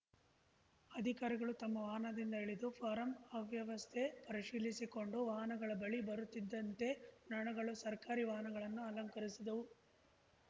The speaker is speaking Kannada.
ಅಧಿಕಾರಿಗಳು ತಮ್ಮ ವಾಹನದಿಂದ ಇಳಿದು ಫಾರಂ ಅವ್ಯವಸ್ಥೆ ಪರಿಶೀಲಿಸಿಕೊಂಡು ವಾಹನಗಳ ಬಳಿ ಬರುತ್ತಿದ್ದಂತೆ ನೊಣಗಳು ಸರ್ಕಾರಿ ವಾಹನಗಳನ್ನು ಅಲಂಕರಿಸಿದ್ದವು